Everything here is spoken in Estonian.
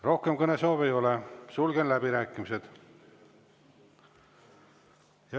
Rohkem kõnesoove ei ole, sulgen läbirääkimised.